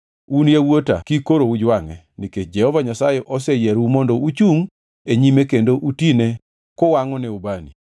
Un yawuota kik koro ujwangʼe, nikech Jehova Nyasaye oseyierou mondo uchungʼ e nyime kendo utine kuwangʼone ubani.”